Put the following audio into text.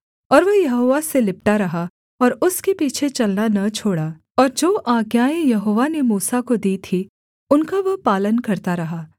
और वह यहोवा से लिपटा रहा और उसके पीछे चलना न छोड़ा और जो आज्ञाएँ यहोवा ने मूसा को दी थीं उनका वह पालन करता रहा